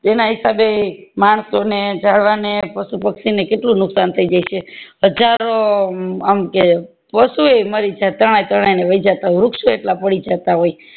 એના હિસાબે માણસો ને જાળવાને અનેક પશુ પક્ષી ને કેટલું નુકસાન થય જાય છે હજારો અમ કે વસ્તુ એ મરી જાય તણાય તણાય ને વાય જતા વૃક્ષ ઓ એટલે પડી જતા